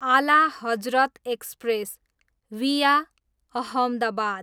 आला Hazrat express, via Ahmedabad